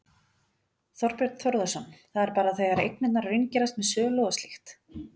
Þorbjörn Þórðarson: Það er bara þegar eignirnar raungerast með sölu og slíkt?